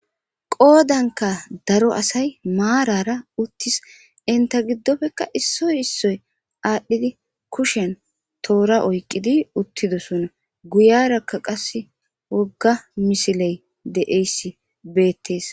qoodanka daro asay maarara uttis inta giddofekka issoy issoy aadhdhidi kushen toora oyqqidi uttidosona guyarakka qase wogga misiley de7eysi beettees